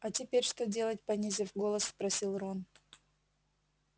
а теперь что делать понизив голос спросил рон